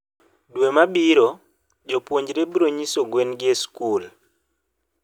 dwe mabiro, jopuonjre bronyiso gwengi e school.